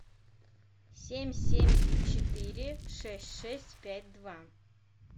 семь семь четыре шесть шесть пять два